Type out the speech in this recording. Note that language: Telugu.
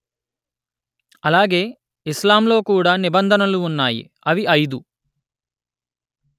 అలాగే ఇస్లాం లో కూడా నిబంధనలు ఉన్నాయి అవి ఐదు